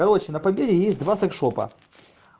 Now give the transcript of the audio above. короче на победе есть два секс шопа